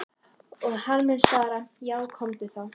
Og hann mun svara:- Já komdu þá.